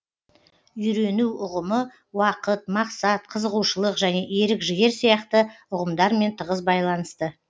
үйрену ұғымы уақыт мақсат қызығушылық және ерік жігер сияқты ұғымдармен тығыз байланысты